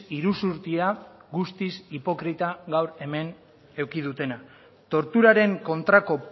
iruzurtia guztiz hipokrita gaur hemen eduki dutena torturaren kontrako